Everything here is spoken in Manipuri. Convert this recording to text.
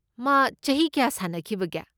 ꯃꯥ ꯆꯍꯤ ꯀꯌꯥ ꯁꯥꯟꯅꯈꯤꯕꯒꯦ?